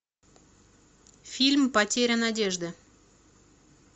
фильм потеря надежды